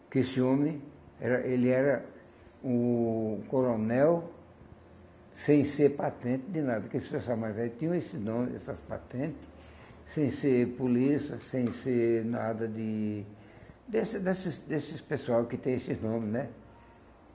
que esse homem, era ele era o coronel sem ser patente de nada, que esse pessoal mais velho tinham esse nome, essas patente, sem ser polícia, sem ser nada de... desse desses desses pessoal que tem esses nomes, né?